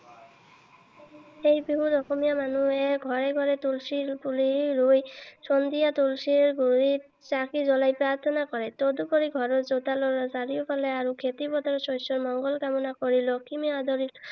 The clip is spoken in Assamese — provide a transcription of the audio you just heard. এই বিহুত অসমীয়া মানুহে ঘৰে ঘৰে তুলসী পুলি ৰুই সন্ধিয়া তুলসী গুৰিত চাকি জ্বলাই প্ৰাৰ্থনা কৰে। তদুপৰি ঘৰৰ চোতালৰ চাৰিওফালে আৰু খেতি পথাৰত শস্যৰ মঙ্গল কামনা কৰি লখিমী আদৰি